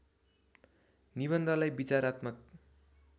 निबन्धलाई विचारात्मक